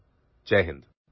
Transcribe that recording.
Jai Hind